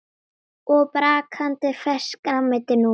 Og brakandi ferskt grænmeti núna?